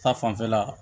Ta fanfɛla